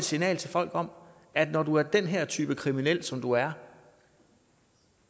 signal til folk om at når du er den her type kriminel som du er